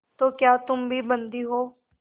तो क्या तुम भी बंदी हो